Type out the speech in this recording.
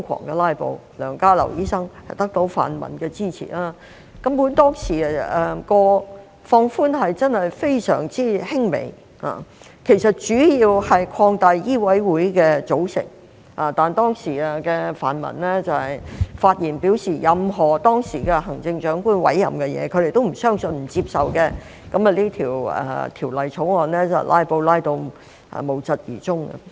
當時梁家騮醫生得到泛民的支持瘋狂"拉布"，當時建議的放寬根本真的非常輕微，主要是擴大香港醫務委員會的組成，但當時的泛民發言表示，對於當時行政長官的任何委任，他們也不相信、不接受，於是該條例草案被"拉布"至無疾而終。